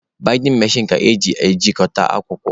Baịdịn mechin ka eji ejikọta akwụkwọ.